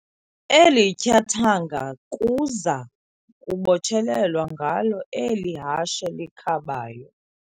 Eli tyathanga kuza kubotshelelwa ngalo eli hashe likhabayo.